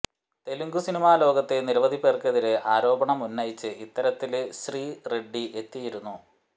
Telugu cinema ലോകത്തെ നിരവധി പേര്ക്കെതിരെ ആരോപണമുന്നയിച്ച് ഇത്തരത്തില് ശ്രീറെഡ്ഡി എത്തിയിരുന്നു